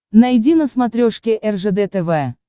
найди на смотрешке ржд тв